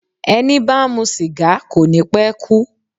Ẹni bá ń mu sìgá kò ní pe kú.